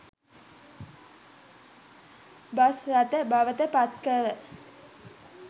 bus රථ බවට පත්කළ